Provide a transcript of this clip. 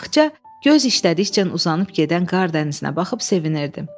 Axça göz işlədikcə uzanıb gedən qardənizinə baxıb sevinirdi.